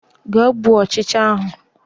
Gaa gbuo ọchịcha ahụ